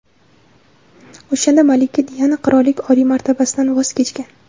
O‘shanda malika Diana qirollik oliy martabasidan voz kechgan.